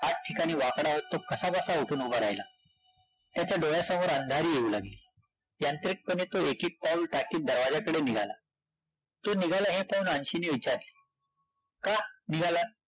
आठ ठिकाणी वाकडा होत तो कसा-बसा उठून उभा राहिला, त्याच्या डोळ्यासमोर अंधारी येऊ लागली, यांत्रिकपणे तो एक-एक पाऊल टाकीत दरवाजाकडे निघाला, तो निघाला हे पाहून अन्शीने विचारले, का? निघालात?